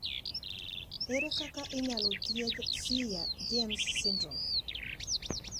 Ere kaka inyalo thiedh Swyer James syndrome?